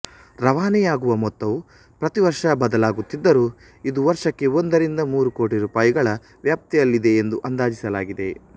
ರವಾನೆಯಾಗುವ ಮೊತ್ತವು ಪ್ರತಿವರ್ಷ ಬದಲಾಗುತ್ತಿದ್ದರೂ ಇದು ವರ್ಷಕ್ಕೆ ಒಂದರಿಂದ ಮೂರು ಕೋಟಿ ರೂಪಾಯಿಗಳ ವ್ಯಾಪ್ತಿಯಲ್ಲಿದೆ ಎಂದು ಅಂದಾಜಿಸಲಾಗಿದೆ